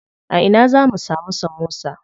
A ina zamu samu samosa?